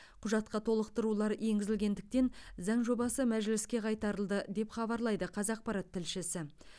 құжатқа толықтырулар енгізілгендіктен заң жобасы мәжіліске қайтарылды деп хабарлайды қазақпарат тілшісі